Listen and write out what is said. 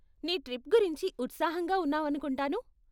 నీ ట్రిప్ గురించి ఉత్సాహంగా ఉన్నావనుకుంటాను.